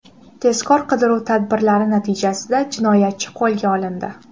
Tezkor qidiruv tadbirlari natijasida jinoyatchi qo‘lga olindi.